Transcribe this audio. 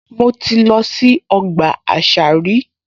Mo ti lọ sí ọgbà àṣà rí